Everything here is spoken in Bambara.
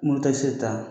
Moto siri ta